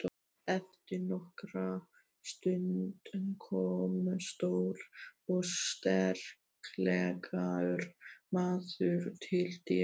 Eftir nokkra stund kom stór og sterklegur maður til dyra.